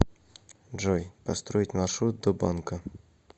джой построить маршрут до банка